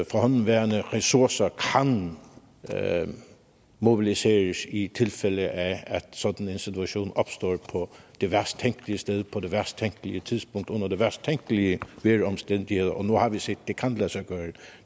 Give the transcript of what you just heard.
forhåndenværende ressourcer kan mobiliseres i tilfælde af at sådan en situation opstår på det værst tænkelige sted på det værst tænkelige tidspunkt under de værst tænkelige vejromstændigheder og nu har vi set at det kan lade sig gøre